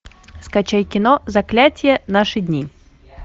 скачай кино заклятье наши дни